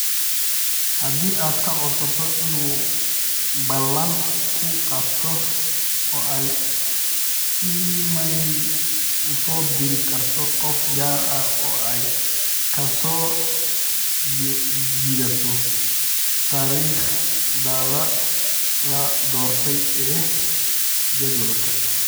haddii aad ka codsato inuu ballan kuu qabto oo ay iimayl u soo diri karto qof gaar ah oo ay ka soo jiidato taariikhda la doortay ee jadwalka